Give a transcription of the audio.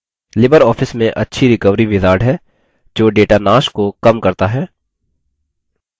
libreoffice में अच्छी recovery wizard है जो data नाश को कम करता है